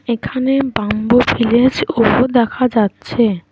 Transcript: এখানে bamboo village অফু দেখা যাচ্ছে।